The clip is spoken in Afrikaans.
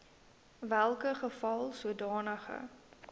welke geval sodanige